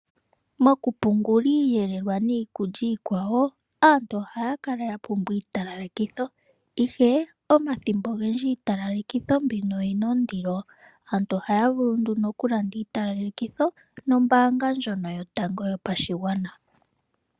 Mokupungula iiyelelwa oshowo iikulya iikwawo aantu ohaya kala ya pumbwa iitalalekitho ihe omathimbo ogendji iitalalekitho oyi na ondilo, aantu ohaya vulu nduno okulanda iitalalekitho nombaanga ndjono yotango yopashigwana.